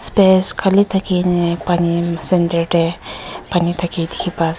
khali thakiney paani center teh paani dikhi pai ase.